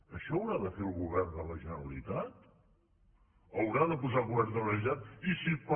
això ho haurà de fer el govern de la generalitat ho haurà de posar el govern de la generalitat i si per